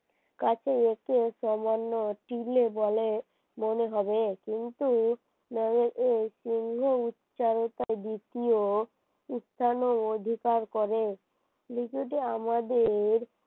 দিলে বলে মনে হবে কিন্তু উচ্চারণের অধিকার করে আমাদের